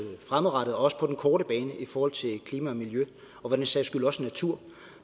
fremadrettet og også på den korte bane i forhold til klima og miljø og for den sags skyld også natur